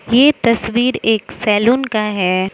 ये तस्वीर एक सैलून का है।